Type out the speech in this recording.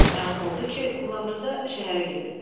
Məlum oldu ki, Qulamriza şəhərə gedib.